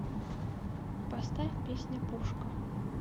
поставь песня пушка